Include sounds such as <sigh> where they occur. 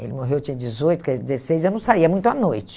Ele morreu, eu tinha dezoito, <unintelligible> dezesseis, eu não saía muito à noite.